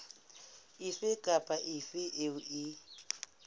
efe kapa efe eo e